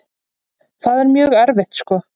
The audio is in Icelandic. Það er mjög erfitt sko.